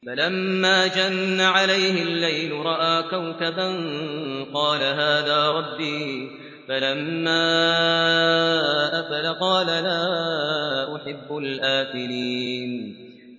فَلَمَّا جَنَّ عَلَيْهِ اللَّيْلُ رَأَىٰ كَوْكَبًا ۖ قَالَ هَٰذَا رَبِّي ۖ فَلَمَّا أَفَلَ قَالَ لَا أُحِبُّ الْآفِلِينَ